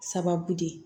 Sababu de ye